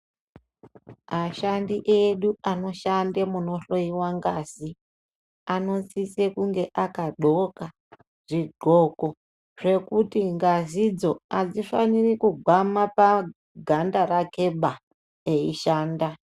Ashandi edu anoshande kunohloyiwa gazi anosise kunge aka dxoka zvodxoko zvekuti ngazidzo hadzofanirwi kugwama paganda rake ba eyishanda.